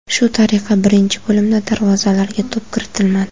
Shu tariqa birinchi bo‘limda darvozalarga to‘p kiritilmadi.